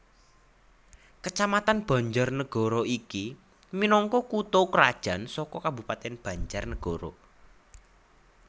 Kacamatan BanjarNagara iki minangka kutha krajan saka Kabupatèn BanjarNagara